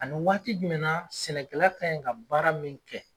Ani waati jumɛn naɲe sɛnɛkɛla kaɲe ka baara min kɛ.